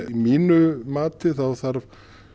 mínu mati þá þarf